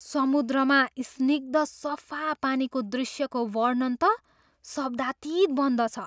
समुद्रमा स्निग्ध सफा पानीको दृश्यको वर्णन त शब्दातीत बन्दछ।